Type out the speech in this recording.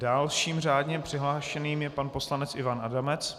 Dalším řádně přihlášeným je pan poslanec Ivan Adamec.